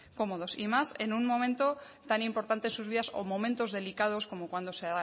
cómodos y más en un momento tan importante en sus vidas o momentos delicados como cuando se